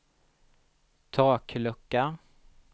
taklucka